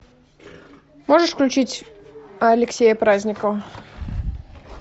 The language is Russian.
можешь включить алексея праздникова